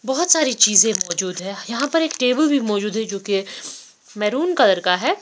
बहुत सारी चीजे मौजूद है यहाँ पर एक टेबल भी मौजूद है जो की ये मेरुण कलर का है।